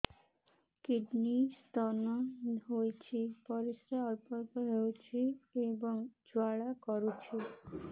kidney stone ହୋଇଛି ପରିସ୍ରା ଅଳ୍ପ ଅଳ୍ପ ହେଉଛି ଏବଂ ଜ୍ୱାଳା କରୁଛି